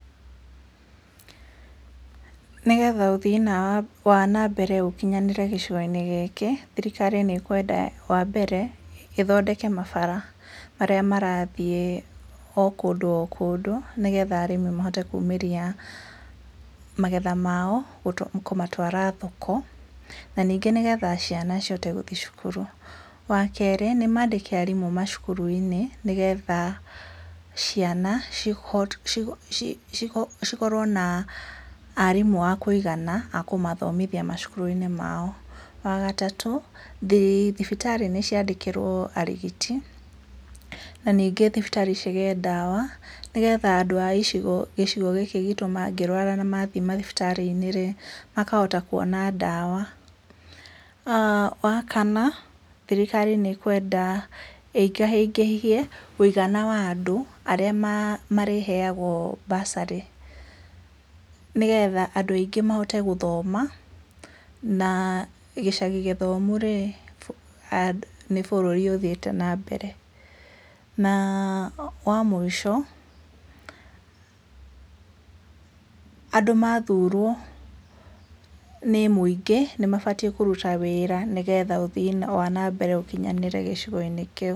Nĩgetha ũthii wa na mbere ũkinyanĩre gĩcigo-inĩ gĩkĩ thirikari nĩ kwenda wa mbere ĩthondeke mabara marĩa marathiĩ o kũndũ o kũndũ nĩgetha arĩmi mahote kumĩria magetha mao kũmatwara thoko, na ningĩ nĩgetha ciana cihote gũthiĩ cukuru, wa kerĩ nĩ mandĩke arimũ macukuru-inĩ nĩgetha ciana cihote, cikorwo na arimũ aakũigana akũmathomithia macukuru-inĩ mao, wagatatũ thibitarĩ nĩ cia ndĩkĩrwo arigiti, na ningĩ thibitarĩ cigĩe dawa na nĩgetha andũ a gĩcigo gĩkĩ gitũ mangĩrwara na mathiĩ mathibitarĩ-inĩ makahota kwona dawa. Ah wa kana thirikari nĩ kwenda ĩingaingĩhie mũigana wa andũ arĩa marĩheagwo bursery, nĩgetha andũ aingĩ mahote gũthoma na gĩcagi gĩthomu nĩ bũrũri ũthiĩte na mbere, na wa mũico andũ mathurwo nĩ muingĩ nĩ mabatie kũruta wĩra nĩgetha ũthii wa na mbere ũkinyanĩre gĩcigo-inĩ kĩu.